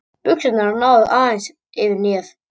Buxurnar náðu aðeins niður fyrir hnéð.